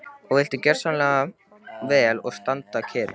Og viltu gjöra svo vel að standa kyrr.